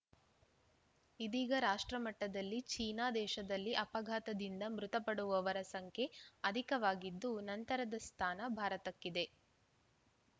ಇದೀಗ ರಾಷ್ಟ್ರ ಮಟ್ಟದಲ್ಲಿ ಚೀನಾ ದೇಶದಲ್ಲಿ ಅಪಘಾತದಿಂದ ಮೃತಪಡುವವರ ಸಂಖ್ಯೆ ಅಧಿಕವಾಗಿದ್ದು ನಂತರದ ಸ್ಥಾನ ಭಾರತಕ್ಕಿದೆ